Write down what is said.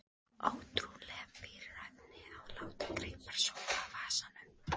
Ótrúleg bíræfni að láta greipar sópa um vasana.